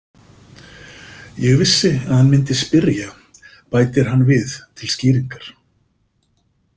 Ég vissi að hann myndi spyrja, bætir hann við til skýringar.